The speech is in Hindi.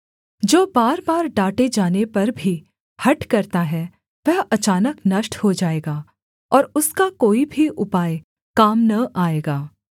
जो बार बार डाँटे जाने पर भी हठ करता है वह अचानक नष्ट हो जाएगा और उसका कोई भी उपाय काम न आएगा